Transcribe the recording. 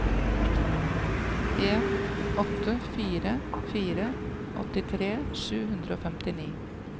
en åtte fire fire åttitre sju hundre og femtini